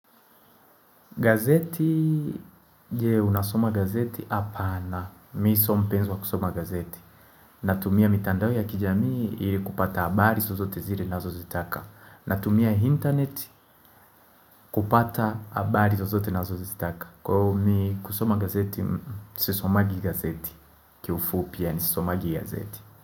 Gazeti, je unasoma gazeti? Hapana. Mimi sio mpenzi wa kusoma gazeti. Natumia mitandao ya kijamii ili kupata habari zozote zile ninazozitaka. Natumia internet kupata abari sozote na zozitaka. Kwa hivo mimi kusoma gazeti, sisomagi gazeti. Kiufupi, sisomagi gazeti.